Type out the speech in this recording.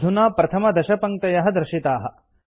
अधुना प्रथमदशपङ्क्तयः दर्शिताः